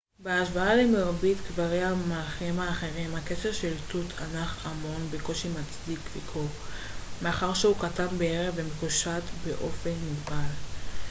בהשוואה למרבית קברי המלכים האחרים הקבר של תות ענח' אמון בקושי מצדיק ביקור מאחר שהוא קטן בהרבה ומקושט באופן מוגבל